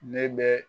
Ne bɛ